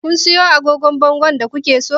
Kun siyo agogon bangon da ku ke so?